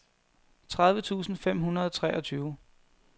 tredive tusind fem hundrede og treogtyve